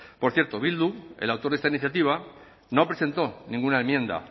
por cierto bildu el autor de esta iniciativa no presentó ninguna enmienda